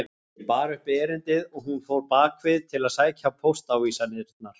Ég bar upp erindið og hún fór bak við til að sækja póstávísanirnar.